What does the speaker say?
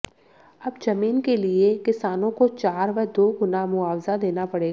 अब जमीन के लिए किसानों को चार व दो गुना मुआवजा देना पड़ेगा